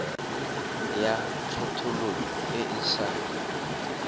ya kgethololo e e sa